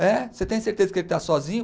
Você tem certeza que ele está sozinho?